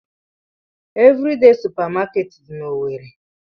Evridee supamakeeti dị n'Owerre.